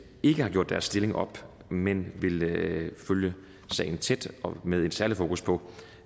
ikke har gjort deres stilling op men vil følge sagen tæt med en særlig fokus på